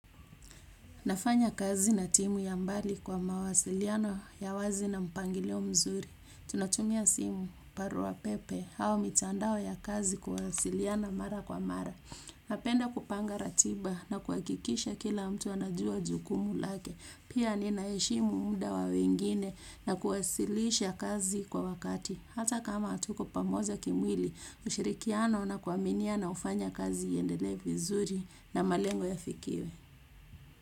Nafanya kazi na timu ya mbali kwa mawasiliano ya wazi na mpangilio mzuri. Tunatumia simu barua pepe au mitandao ya kazi kuwasiliana mara kwa mara. Napenda kupanga ratiba na kuhakikisha kila mtu anajua jukumu lake. Pia ninaheshimu muda wa wengine na kuwasilisha kazi kwa wakati. Hata kama hatuko pamoja kimwili ushirikiano na kuaminiana hufanya kazi iendelee vizuri na malengo yafikiwe.